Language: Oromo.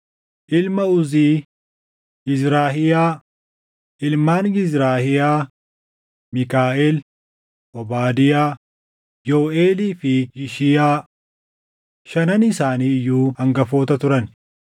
Ilma Uzii: Yizrahiyaa. Ilmaan Yizrahiyaa: Miikaaʼel, Obaadiyaa, Yooʼeelii fi Yishiyaa. Shanan isaanii iyyuu hangafoota turan.